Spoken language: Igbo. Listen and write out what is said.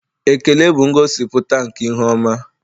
Ekele bụ ngosipụta nke ihu ọma.